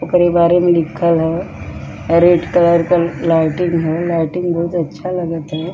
ओकरे बारे मे लिखल हेय रेड कलर के लाइटिंग हेय लाइटिंग बहोत अच्छा लगाएत हेय।